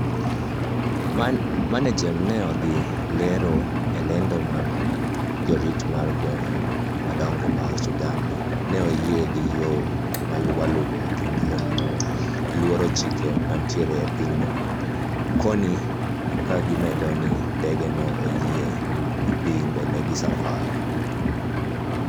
MANAGEM ne odhi lero e lendo mare ni jorit mar gweng maduong mar Sudan neoyie gi yoo mawaluo kendo luoro chike manitie e pinyno koni kagimedo ni ndege no oyiene dhi mbele gi safar